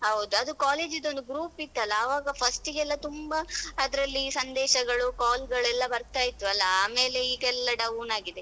ಹೌದು ಅದು college ದೊಂದು group ಇತ್ತಲ್ಲ ಅವಾಗ first ಗೆ ಎಲ್ಲ ತುಂಬ ಅದ್ರಲ್ಲಿ ಸಂದೇಶಗಳು call ಗಳೆಲ್ಲಾ ಬರ್ತಾ ಇತ್ತು ಅಲಾ ಆಮೇಲೆ ಈಗ ಎಲ್ಲಾ down ಆಗಿದೆ.